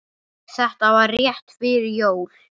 Þetta var rétt fyrir jól.